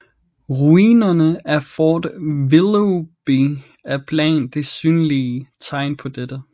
Ruinerne af Fort Willoughby er blandt de synlige tegn på dette